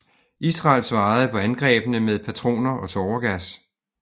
Israel svarede på angrebene med patroner og tåregas